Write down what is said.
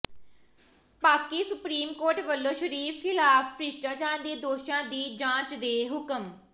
Pak supreme court ਵੱਲੋਂ ਸ਼ਰੀਫ਼ ਖ਼ਿਲਾਫ਼ ਭ੍ਰਿਸ਼ਟਾਚਾਰ ਦੇ ਦੋਸ਼ਾਂ ਦੀ ਜਾਂਚ ਦੇ ਹੁਕਮ